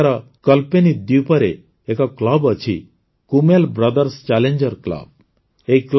ଏଠାକାର କଳ୍ପେନୀ ଦ୍ୱୀପରେ ଏକ କ୍ଲବ ଅଛି କୁମେଲ୍ ବ୍ରଦର୍ସ ଚ୍ୟାଲେଞ୍ଜର୍ସ କ୍ଲବ